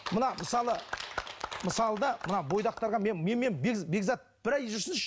мына мысалы мысалы да мына бойдақтарға менімен бекзат бір ай жүрсінші